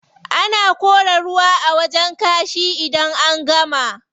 Ana kora ruwa a wajen kashi idan an gama.